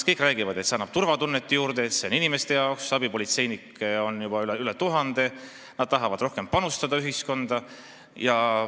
Kõik räägivad, et see annab turvatunnet juurde, et see on inimeste jaoks, abipolitseinikke on juba üle tuhande, nad tahavad ühiskonda rohkem panustada.